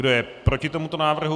Kdo je proti tomuto návrhu?